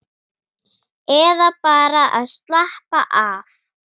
Eða bara að slappa af.